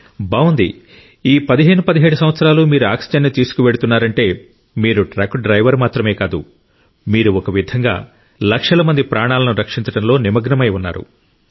బాగుంది ఈ 1517 సంవత్సరాలు మీరు ఆక్సిజన్ ను తీసుకువెళ్తున్నారంటే మీరు ట్రక్ డ్రైవర్ మాత్రమే కాదు మీరు ఒక విధంగా లక్షల మంది ప్రాణాలను రక్షించడంలో నిమగ్నమై ఉన్నారు